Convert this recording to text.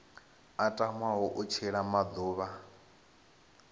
a tamaho u tshila maḓuvha